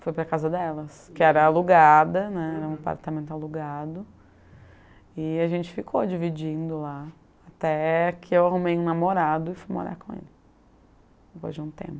Foi para a casa delas, que era alugada né, era um apartamento alugado, e a gente ficou dividindo lá, até que eu arrumei um namorado e fui morar com ele, depois de um tempo